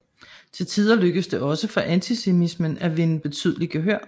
Til tider lykkedes det også for antisemitismen at vinde betydeligt gehør